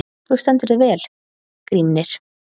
Þú stendur þig vel, Grímnir!